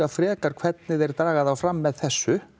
frekar hvernig þeir draga þá fram með þessu